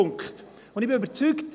Ich bin überzeugt: